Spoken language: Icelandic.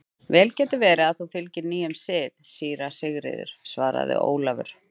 Vel getur verið að þú fylgir nýjum sið, síra Sigurður, svaraði Ólafur.